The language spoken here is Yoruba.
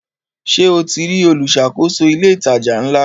Ṣe o ti rí olùṣàkóso ilé ìtajà ńlá?